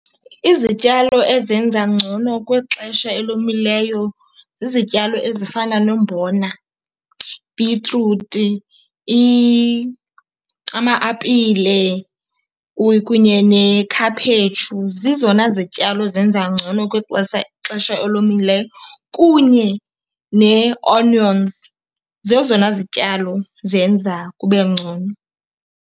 Izityalo ezenza ngcono kwixesha elomileyo zizityalo ezifana nombona, bhitruti, ama-apile kunye nekhaphetshu. Zizona zityalo zenza ngcono kwixesha, xesha elomileyo, kunye nee-onions. Zezona zityalo zenza kube ngcono.